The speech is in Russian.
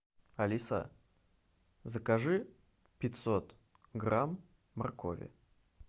алиса закажи пятьсот грамм моркови